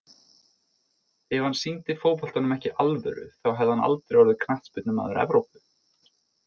Ef hann sýndi fótboltanum ekki alvöru þá hefði hann aldrei orðið Knattspyrnumaður Evrópu.